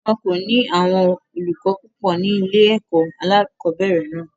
Wọn kò ní àwọn olùkọ́ púpò ní ilé-ẹ̀kọ́ alẹ́kọ̀ọ́bẹ̀rẹ̀ náà.